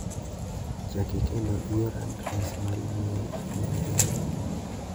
Chaki kendo ior adres mar imel ne Emma.